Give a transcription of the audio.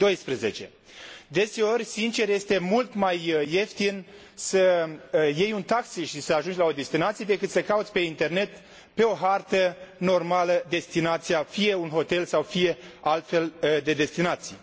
2012. Deseori, sincer, este mult mai ieftin să iei un taxi și să ajungi la o destinație decât să cauți pe internet, pe o hartă normală, destinația, fie un hotel sau fie altfel de destinații.